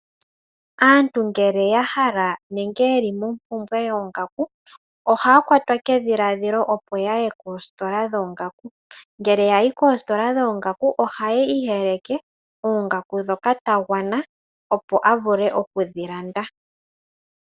Aantu ngele ya hala nenge ye li mompumbwe yoongaku, ohaya kwatwa kedhiladhilo opo yaye koositola dhoongaku. Ngele ya yi koositola dhoongaku, ohayi iyeleke oongaku ndhoka ta gwana opo ya vule oku dhi landa.